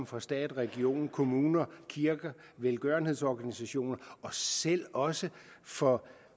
fra stat region kommune kirker velgørenhedsorganisationer og selv også fra